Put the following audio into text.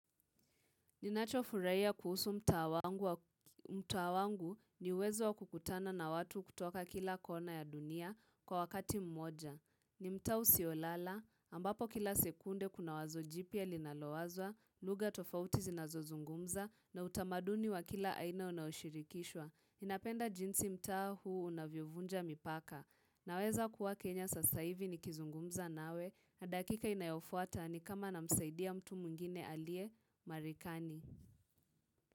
Ninacho furahia kuhusu mtaa wangu ni uwezo wa kukutana na watu kutoka kila kona ya dunia kwa wakati mmoja. Ni mta usio lala, ambapo kila sekunde kuna wazo jipya linalowazwa, lugha tofauti zinazozungumza na utamaduni wa kila aina unaoshirikishwa. Ninapenda jinsi mtaa huu unavyovunja mipaka. Naweza kuwa Kenya sasa hivi ni kizungumza nawe na dakika inayofuata ni kama na msaidia mtu mwingine aliye Marekani.